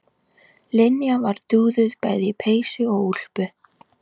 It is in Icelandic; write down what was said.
Linja var dúðuð bæði í peysu og úlpu.